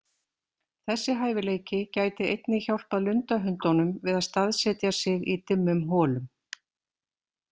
Þessi hæfileiki gæti einnig hjálpað lundahundunum við að staðsetja sig í dimmum holum.